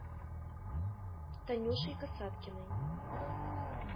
танюшей касаткиной